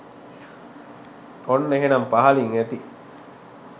ඔන්න එහෙනම් පහලින් ඇති